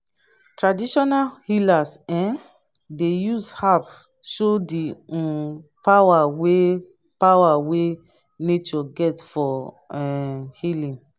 traditional healers um dey use herbs show di um power wey power wey nature get for um healing.